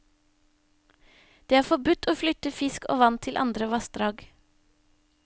Det er forbudt å flytte fisk og vann til andre vassdrag.